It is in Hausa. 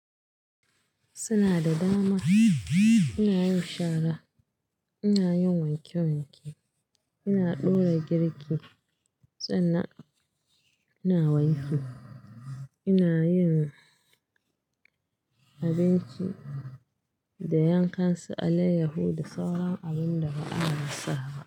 Suna da dama, ina yin shara, ina yin wanke wanke, ina dora girki, sannan ina wanki, ina yin abinci da yankansu Aliahudu sauran abin da ba a rasaba.